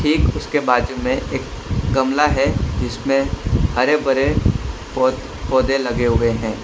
ठीक उसके बाजू में एक गमला है जिसमें हरे भरे पौ पौधे लगे हुए हैं।